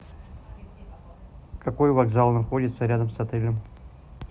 какой вокзал находится рядом с отелем